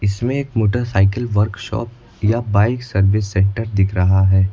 इसमें एक motorcycle workshop या बाइक सर्विस सेंटर दिख रहा है।